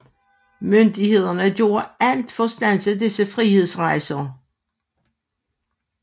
Myndighederne gjorde alt for at standse disse frihedsrejser